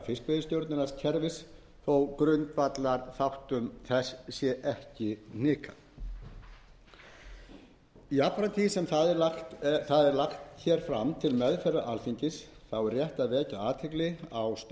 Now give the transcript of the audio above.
fiskveiðistjórnarkerfis þó grundvallarþáttum þess sé ekki hnikað jafnframt því sem það er lagt hér fram til meðferðar alþingis þá er rétt að vekja athygli á störfum endurskoðunarnefndarinnar